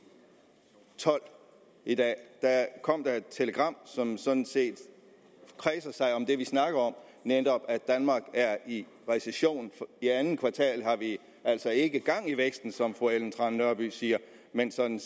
tolv i dag kom der er et telegram som sådan set kredser om det vi snakker om netop at danmark er i recession i andet kvartal har vi altså ikke gang i væksten som fru ellen trane nørby siger men sådan